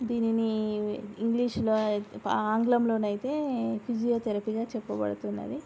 దీనిని ఇంగ్లీష్ లో ఆంగ్లం లో అయితే ఫీజియోథెరపీ గా చెప్పబడుతున్నది.